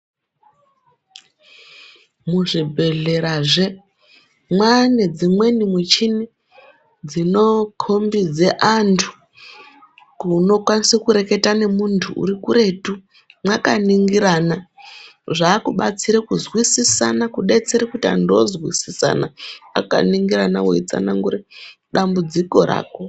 Muzvibhedhlerazve mwane dzimweni michini dzinokombidze antu kunokasire kureketa ngemuntu urikuretu mwakaningirana zvakubatsire kuzwisisana kubetsera kuti antu ozwisisana akaningirana weitsanangure dambudziko rako.